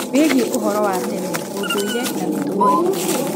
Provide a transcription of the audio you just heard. wĩgie úhoro wa tene, ũndũire, na mĩtugo itũ